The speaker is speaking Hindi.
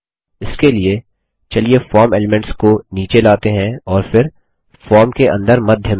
इसके लिए चलिए फॉर्म एलीम्नेट्स को नीचे लाते हैं और फिर फॉर्म के अंदर मध्य में